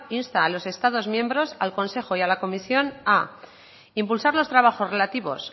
insta a los estados miembros al consejo y a la comisión a impulsar los trabajos relativos